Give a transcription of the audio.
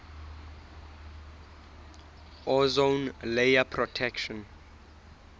ozone layer protection